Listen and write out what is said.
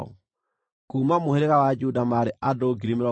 Kuuma mũhĩrĩga wa Juda maarĩ andũ 74,600.